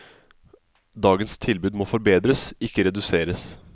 Dagens tilbud må forbedres, ikke reduseres.